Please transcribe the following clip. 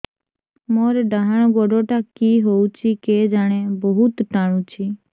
ମୋର୍ ଡାହାଣ୍ ଗୋଡ଼ଟା କି ହଉଚି କେଜାଣେ ବହୁତ୍ ଟାଣୁଛି